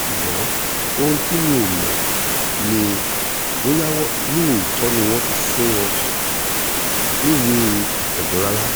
ṣùgbọ́n ohun tí mi ò mọ̀ ni bóyá lóòótọ́ ni wọ́n ti fún wọn níwèé ìpéjọ rárá